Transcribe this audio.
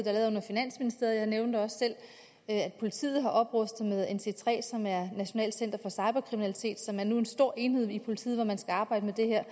er lavet under finansministeriet og nævnte også selv at politiet har oprustet med nc3 et nationalt center for cyberkriminalitet som nu er en stor enhed i politiet hvor man skal arbejde med det her